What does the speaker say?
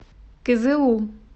кызылу